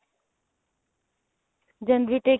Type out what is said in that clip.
January intake